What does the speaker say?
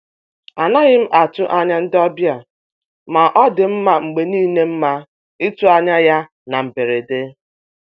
A naghị m atụ anya ndị ọbịa, ma ọ dị mma mgbe niile mma itụ anya ya na mberede.